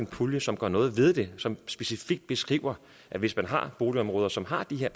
pulje som gør noget ved det som specifikt beskriver at hvis man har boligområder som har den her